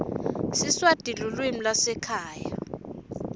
siswati lulwimi lwasekhaya